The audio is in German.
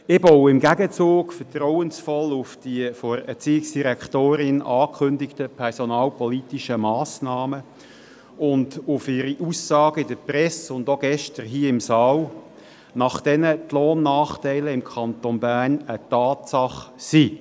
Ich baue im Gegenzug vertrauensvoll auf die von der Erziehungsdirektorin angekündigten personalpolitischen Massnahmen und auf ihre Aussage in der Presse sowie auch gestern hier im Saal, wonach die Lohnnachteile im Kanton Bern eine Tatsache seien.